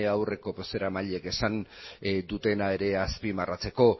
aurreko bozeramaileek esan dutena ere azpimarratzeko